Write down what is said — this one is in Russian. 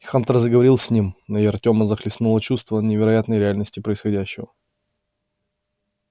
хантер заговорил с ним и артёма захлестнуло чувство невероятной реальности происходящего